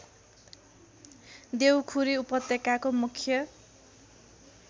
देउखुरी उपत्यकाको मुख्य